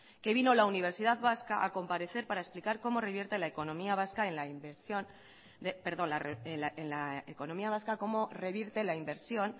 que vino la universidad vasca a comparecer para explicar en la economía vasca como revierte la inversión